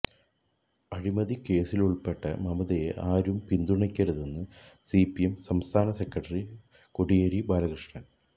അഴിമതിക്കേസിലുൾപ്പെട്ട മമതയെ ആരും പിന്തുണക്കരുതെന്ന് സിപിഎം സംസ്ഥാന സെക്രട്ടറി കോടിയേരി ബാലകൃഷ്ണൻ